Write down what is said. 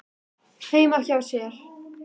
heima hjá sér.